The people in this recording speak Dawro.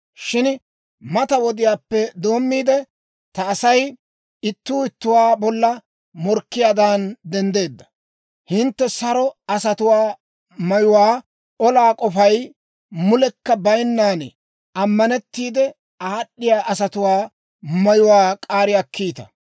Shin mata wodiyaappe doommiide, ta Asay ittuu ittuwaa bolla morkkiyaadan denddeedda. Hintte saro asatuwaa mayuwaa, olaa k'ofay mulekka bayinnan ammanettiide aad'd'iyaa asatuwaa mayuwaa k'aari akkiita;